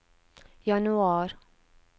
januar